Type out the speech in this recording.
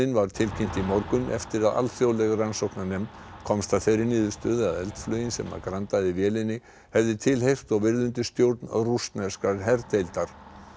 var tilkynnt í morgun eftir að alþjóðleg rannsóknarnefnd komst að þeirri niðurstöðu að eldflaugin sem grandaði vélinni hafði tilheyrt og verið undir stjórn rússneskrar herdeildar